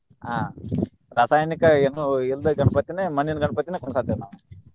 ಆಹ್ ರಾಸಾಯನಿಕ ಏನು ಇಲ್ದ ಗಣಪತಿಯನ್ನ ಮಣ್ಣಿನ ಗಣಪತಿನ ಕುಂದ್ರಸಾತೇವ ನಾವ್.